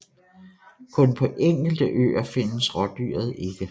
Kun på enkelte øer findes rådyret ikke